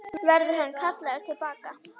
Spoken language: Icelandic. Verður hann kallaður til baka?